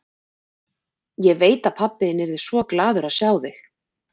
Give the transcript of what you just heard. Ég veit að pabbi þinn yrði svo glaður að sjá þig.